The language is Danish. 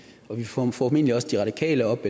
vi får formentlig også de radikale op